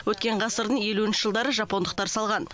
өткен ғасырдың елуінші жылдары жапондықтар салған